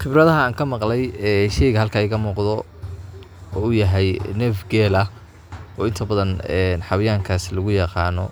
Khibradaha aan ka maqlay sheygan halkaa iga muuqdo uu yahay neef geela oo inta badan xawayaan kaas lagu yaqaano